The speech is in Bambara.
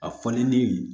A fɔlen ni